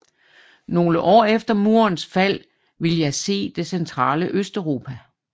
Nogle år efter murens fald ville jeg se det centrale Østeuropa